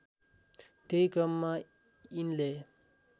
त्यही क्रममा यिनले